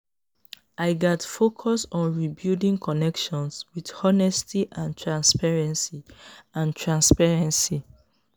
i gats focus on rebuilding connections with honesty and transparency. and transparency.